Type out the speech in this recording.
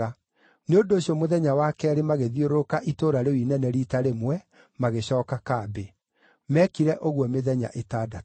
Nĩ ũndũ ũcio mũthenya wa keerĩ magĩthiũrũrũka itũũra rĩu inene riita rĩmwe, magĩcooka kambĩ. Meekire ũguo mĩthenya ĩtandatũ.